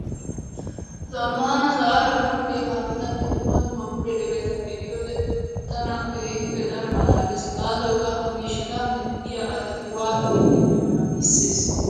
Zammaana sa'aara bululiya kaametanne dumma dumma bululiyabata be'iyo wode tana keehippe daro malaalees. Gaasoykka ha miishshata medhdhiya asati waatidi medhdhiyonaa giissees.